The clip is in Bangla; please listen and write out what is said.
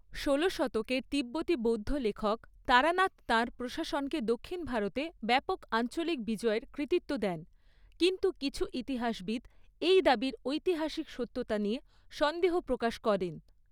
ষোলো শতকের তিব্বতি বৌদ্ধ লেখক তারানাথ তাঁর প্রশাসনকে দক্ষিণ ভারতে ব্যাপক আঞ্চলিক বিজয়ের কৃতিত্ব দেন, কিন্তু কিছু ইতিহাসবিদ এই দাবির ঐতিহাসিক সত্যতা নিয়ে সন্দেহ প্রকাশ করেন।